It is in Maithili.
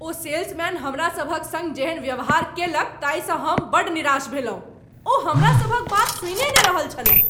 ओ सेल्समैन हमरा सभक सङ्ग जेहन व्यवहार कयलक ताहिसँ हमरा बड्ड निराश भेलहुँ , ओ हमरा सभक बात सुनिए नहि रहल छलय।